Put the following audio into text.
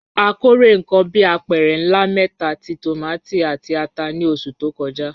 A kórè nǹkan bí apẹ̀rẹ̀ ńlá mẹ́ta ti tòmátì àti ata ní oṣù tó kọjá.